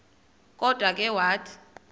kodwa ke wathi